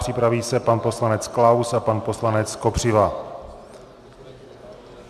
Připraví se pan poslanec Klaus a pan poslanec Kopřiva.